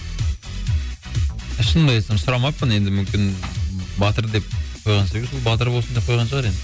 шынымды айтсам сұрамаппын енді мүмкін батыр деп қойғасын батыр болсын деп қойған шығар енді